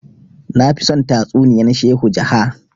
nafi son tatsuniyan shehu jaha